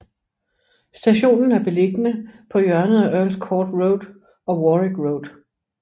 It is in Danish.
Stationen er beliggende på hjørnet af Earls Court Road og Warwick Road